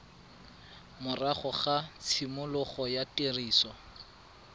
morago ga tshimologo ya tiriso